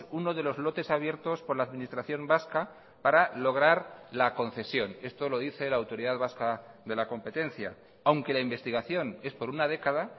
uno de los lotes abiertos por la administración vasca para lograr la concesión esto lo dice la autoridad vasca de la competencia aunque la investigación es por una década